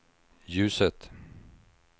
ljuset